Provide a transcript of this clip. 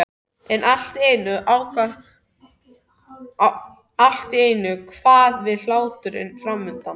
En allt í einu kvað við hlátur framundan.